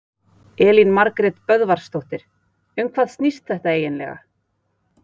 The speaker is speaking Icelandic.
Elín Margrét Böðvarsdóttir: Um hvað snýst þetta eiginlega?